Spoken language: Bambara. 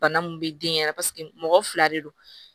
Bana min bɛ den yɛrɛ mɔgɔ fila de don